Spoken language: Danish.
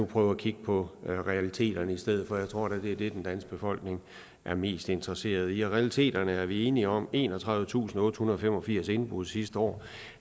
prøve at kigge på realiteterne i stedet for jeg tror da det er det den danske befolkning er mest interesseret i og realiteterne er vi enige om enogtredivetusinde og ottehundrede og femogfirs indbrud sidste år